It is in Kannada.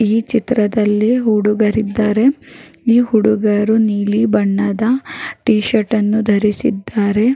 ಈ ಚಿತ್ರದಲ್ಲಿ ಹುಡುಗರು ಇದ್ದಾರೇ ಈ ಹುಡುಗರು ನೀಲಿ ಬಣ್ಣದ ಟಿ ಶರ್ಟ್ ಅನ್ನು ಧರಿಸಿದ್ದಾರೆ.